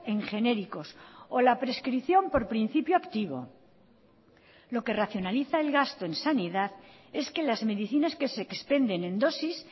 en genéricos o la prescripción por principio activo lo que racionaliza el gasto en sanidad es que las medicinas que se expenden en dosis